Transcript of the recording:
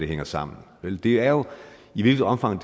hænger sammen vel det er jo i hvilket omfang